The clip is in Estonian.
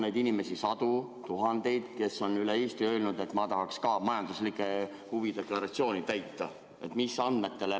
On neid inimesi sadu või tuhandeid, kes on Eestis öelnud, et ma tahaks ka majanduslike huvide deklaratsiooni täita?